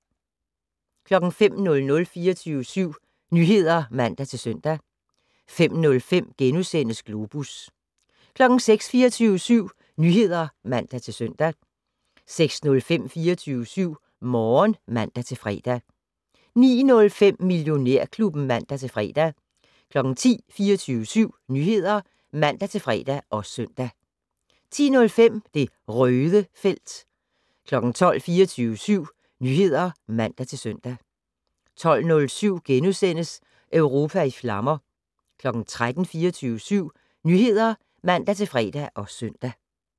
05:00: 24syv Nyheder (man-søn) 05:05: Globus * 06:00: 24syv Nyheder (man-søn) 06:05: 24syv Morgen (man-fre) 09:05: Millionærklubben (man-fre) 10:00: 24syv Nyheder (man-fre og søn) 10:05: Det Røde felt 12:00: 24syv Nyheder (man-søn) 12:07: Europa i flammer * 13:00: 24syv Nyheder (man-fre og søn)